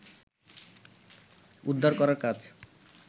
উদ্ধার করার কাজ